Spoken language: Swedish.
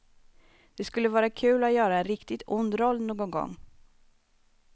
Det skulle vara kul att göra en riktigt ond roll någon gång.